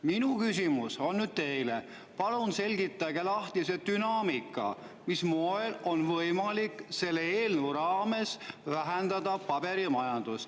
Minu küsimus teile on: palun selgitage lahti see dünaamika, mis moel on võimalik selle eelnõu kohaselt vähendada paberimajandust.